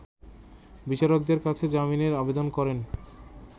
বিচারকের কাছে জামিনের আবেদন করেন